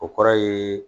O kɔrɔ ye